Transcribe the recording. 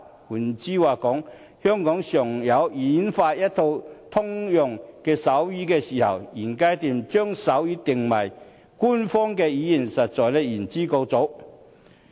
換言之，在香港演化出一套通用手語前，現階段將手語定為官方語言，實在是言之過早。